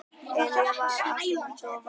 Emil var alveg agndofa.